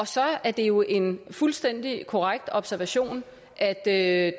så er det jo en fuldstændig korrekt observation at at